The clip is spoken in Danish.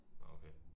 Nå okay